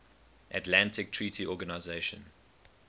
atlantic treaty organisation